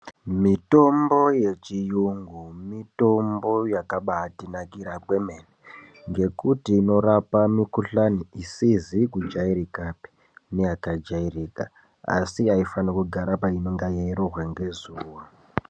Mitombo yechiyungu mitombo yakabatinakira kwemene, ngekuti inorapa mikuhlani isizi kujairikapi neyakajairika asi haifani kugara painonga yeirohwa ngezuwa.